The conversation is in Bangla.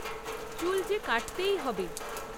চুল যে কাটতেই হবে।